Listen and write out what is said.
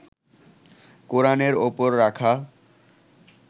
কোরানের ওপর রাখা